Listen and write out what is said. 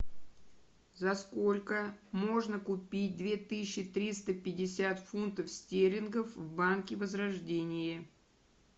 за сколько можно купить две тысячи триста пятьдесят фунтов стерлингов в банке возрождение